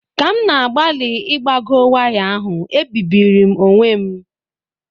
Ka m na-agbalị ịgbagọ waya ahụ, ebibiri m onwe m